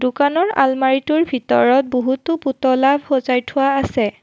দোকানৰ আলমাৰিটোৰ ভিতৰত বহুতো পুতলা সজাই থোৱা আছে।